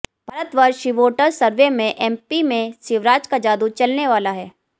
Bharatvarsh CVoter survey में MP में शिवराज का जादू चलने वाला है